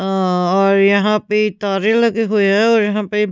अ और यहां पे तारे लगे हुए हैं और यहां पे--